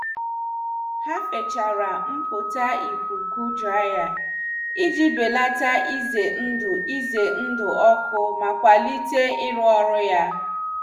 Ha fichara mpụta ikuku draiya iji belata ize ndụ ize ndụ ọkụ ma kwalite iru ọrụ ya.